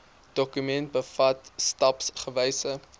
dokument bevat stapsgewyse